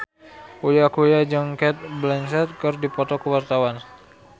Uya Kuya jeung Cate Blanchett keur dipoto ku wartawan